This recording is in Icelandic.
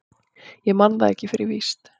Ég man það ekki fyrir víst.